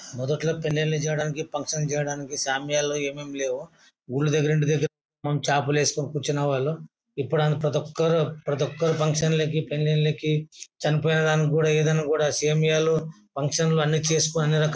మొదట్లో పెళ్ళీలు చేయడానికి ఫంక్షన్ల కి చేయడానికి సామ్యాణాలు ఏమేమి లేవు. ఊళ్ల దగ్గర ఇంటి దగ్గర నుంచి చాపలేసుకుని కూర్చునే వాళ్ళం. ఇప్పుడంతా ప్రతి ఒక్కరు ఫంక్షన్ కి పెళ్లిళ్లకి చనిపోయిన దానికి కూడా దీన్ని కూడా సమయాలు ఫంక్షన్ లు అన్ని చేసుకొని అన్ని రకాల --